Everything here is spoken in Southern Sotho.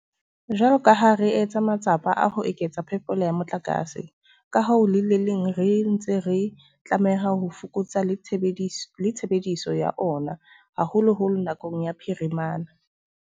Jwalo ka ha re etsa matsapa a ho eketsa phepelo ya motlakase, ka ho le leng re ntse re tlameha ho fokotsa le tshebediso ya ona, haholoholo nakong ya ka phirimana.